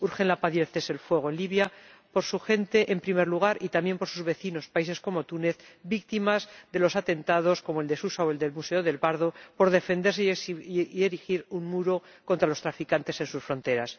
Urgen la paz y el alto el fuego en Libia, por su gente, en primer lugar, y también, por sus vecinos, países como Túnez, víctima de atentados como el de Susa o el del Museo Nacional del Bardo por defenderse y erigir un muro contra los traficantes en sus fronteras.